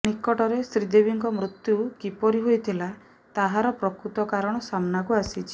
ନିକଟରେ ଶ୍ରୀଦେବୀଙ୍କ ମୃତ୍ୟୁ କିପରି ହୋଇଥିଲା ତାହାର ପ୍ରକୃତ କାରଣ ସାମ୍ନାକୁ ଆସିଛି